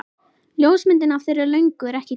Ljósmyndin af þeirri löngu er ekki góð.